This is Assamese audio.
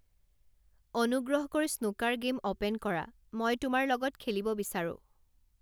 অনুগ্ৰহ কৰি স্নুকাৰ গেম ওপেন কৰা, মই তোমাৰ লগত খেলিব বিচাৰো